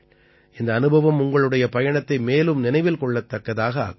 இந்த அனுபவம் உங்களுடைய பயணத்தை மேலும் நினைவில் கொள்ளத்தக்கதாக ஆக்கும்